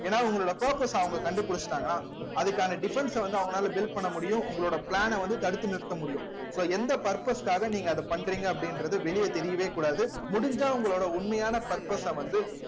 ஏன்னா உங்களோட purpose ஐ அவங்க கண்டுபிடிச்சிட்டாங்கன்னா அதுக்கான defence ஐ வந்து அவங்களால build பண்ண முடியும் உங்களோட plan ஐ வந்து தடுத்து நிறுத்த முடியும் so எந்த purpose க்காக நீங்க அதை பண்றீங்க அப்படின்றது வெளியே தெரியவே கூடாது முடிஞ்சா உங்களோட உண்மையான purpose அ வந்து